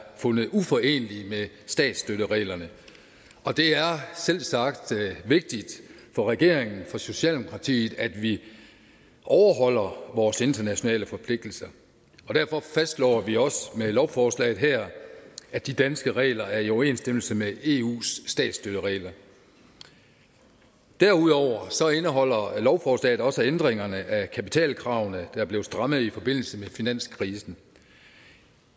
fundet uforenelige med statsstøttereglerne det er selvsagt vigtigt for regeringen for socialdemokratiet at vi overholder vores internationale forpligtelser og derfor fastslår vi også med lovforslaget her at de danske regler er i overensstemmelse med eus statsstøtteregler derudover indeholder lovforslaget også ændringerne af kapitalkravene der blev strammet i forbindelse med finanskrisen